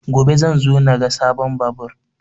Gobe zan zo na ga sabon babur